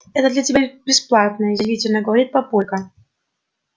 это для тебя бесплатное язвительно говорит папулька